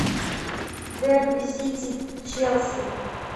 дерби сити челси